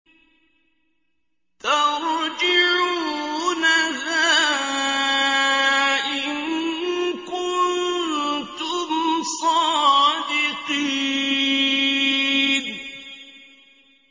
تَرْجِعُونَهَا إِن كُنتُمْ صَادِقِينَ